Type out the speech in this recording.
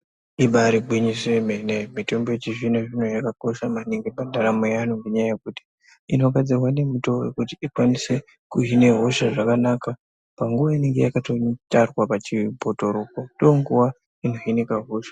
Ibaari gwinyiso yemene mitombo yechizvino-zvino yakakosha maningi pandaramo yeanhu ngenyaya yekuti inogadzirwa nemutoo wekuti ikwanise kuhine hosha zvakanaka. Panguva inenge yakatotarwa pachibhotoropo ndoonguva inohinika hosha.